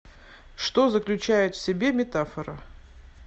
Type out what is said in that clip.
что заключает в себе метафора